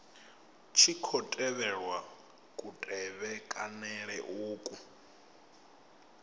tshi khou tevhelwa kutevhekanele uku